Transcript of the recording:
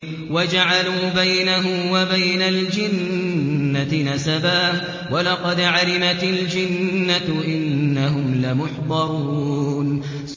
وَجَعَلُوا بَيْنَهُ وَبَيْنَ الْجِنَّةِ نَسَبًا ۚ وَلَقَدْ عَلِمَتِ الْجِنَّةُ إِنَّهُمْ لَمُحْضَرُونَ